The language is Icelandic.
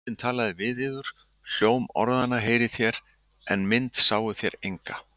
Drottinn talaði við yður. hljóm orðanna heyrðuð þér, en mynd sáuð þér enga.